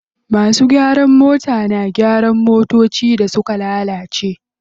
Masu gyaran mota da gyara motocin da suka lalace.